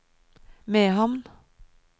Mehamn